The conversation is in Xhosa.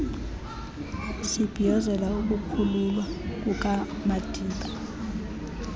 sibhiyozela ukukhululwa kukamadiba